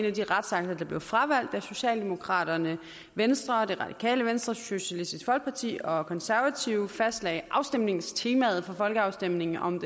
af de retsakter der blev fravalgt da socialdemokraterne venstre det radikale venstre socialistisk folkeparti og konservative fastlagde afstemningstemaet for folkeafstemningen om